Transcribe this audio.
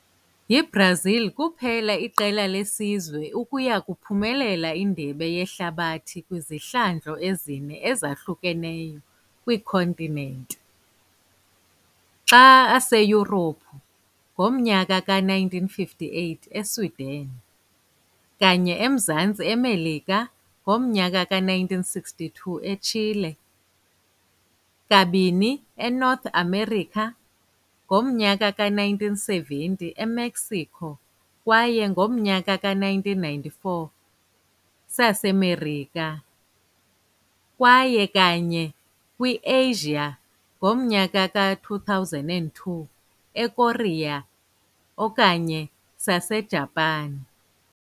YiBrazil kuphela iqela lesizwe ukuya kuba uphumelele Indebe Yehlabathi kwizihlandlo ezine ezahlukeneyo kwii-continent - xa Aseyurophu, ngomnyaka ka-1958 Sweden, kanye Emzantsi Emelika, ngomnyaka ka-1962 Chile, kabini North America, ngomnyaka ka-1970 Mexico kwaye ngomnyaka ka-1994 sasemerika, kwaye kanye kwi-e-Asia ngomnyaka ka-2002 eKorea okanye Sasejapan.